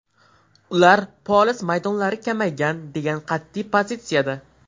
Ular poliz maydonlari kamaygan, degan qat’iy pozitsiyada.